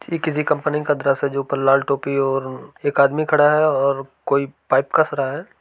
थी किसी कंपनी का दृश्य है जो ऊपर लाल टोपी और एक आदमी खड़ा है और कोई पाइप कस रहा है।